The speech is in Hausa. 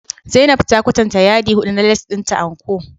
Zainab ta kwatanta yadi hudu na lace dinta And-Co